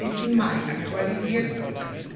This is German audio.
27. Mai aktualisiert wurde.